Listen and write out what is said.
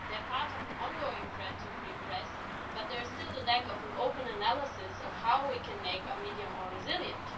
They are part of an ongoing threat to the free press, but there is still a lack of an open analysis of how we can make our media more resilient.